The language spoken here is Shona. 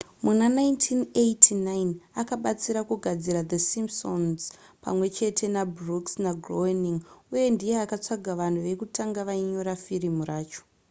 muna 1989 akabatsira kugadzira the simpsons pamwe chete nabrooks nagroening uye ndiye akatsvaga vanhu vekutanga vainyora firimu racho